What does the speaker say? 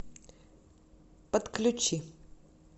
подключи